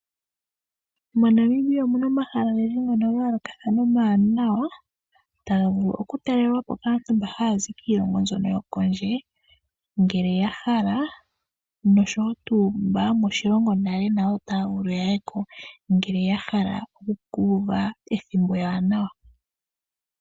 MoNamibia omuna omahala ogendji ngono ga yolokathana omawanawa taga vulu oku talelwapo kaantu mba hayazi kiilongo yokondje, ngele yahala noshowo tu mba yomoshilongo nayo otaya vulu ya yeko ngele ya hala oku kuva ethimbo ewanawa.